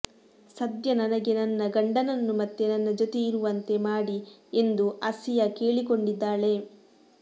ಸದ್ಯ ನನಗೆ ನನ್ನ ಗಂಡನನ್ನು ಮತ್ತೆ ನನ್ನ ಜೊತೆ ಇರುವಂತೆ ಮಾಡಿ ಎಂದು ಆಸಿಯಾ ಕೇಳಿಕೊಂಡಿದ್ದಾಳೆ